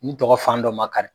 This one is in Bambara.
N tɔgɔ fan dɔ ma kari.